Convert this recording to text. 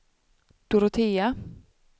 Dorotea